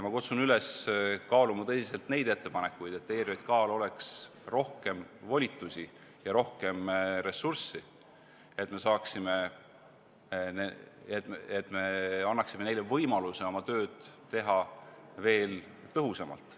Ma kutsun üles tõsiselt kaaluma ettepanekuid, et ERJK-l oleks rohkem volitusi ja rohkem ressurssi, et me annaksime neile võimaluse teha oma tööd veel tõhusamalt.